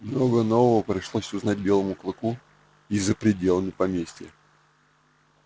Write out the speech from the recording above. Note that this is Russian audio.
много нового пришлось узнать белому клыку и за пределами поместья